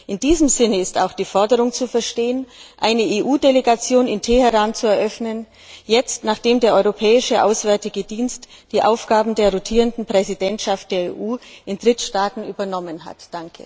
In diesem Sinne ist auch die Forderung zu verstehen, eine EU Delegation in Teheran zu eröffnen, jetzt, nachdem der Europäische Auswärtige Dienst die Aufgaben der rotierenden Präsidentschaft der EU in Drittstaaten übernommen hat.